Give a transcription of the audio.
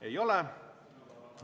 Ei ole.